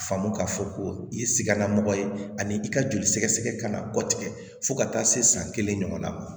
Faamu k'a fɔ ko i ye sikanna mɔgɔ ye ani i ka joli sɛgɛsɛgɛ kan ka bɔ tigɛ fo ka taa se san kelen ɲɔgɔnna ma